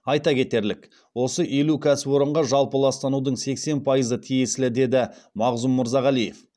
айта кетерлік осы елу кәсіпорынға жалпы ластанудың сексен пайызы тиесілі деді мағзұм мырзағалиев